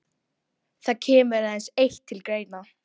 Það kemur aðeins eitt til greina.